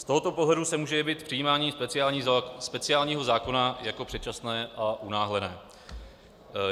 Z tohoto pohledu se může jevit přijímání speciálního zákona jako předčasné a unáhlené.